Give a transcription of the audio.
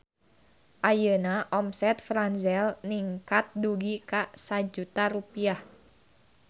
Ayeuna omset Franzel ningkat dugi ka 1 juta rupiah